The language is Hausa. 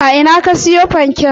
A ina ka siyo fanken?